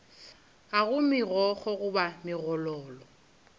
ga go megokgo goba megololo